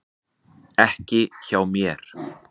Ekki hjá mér.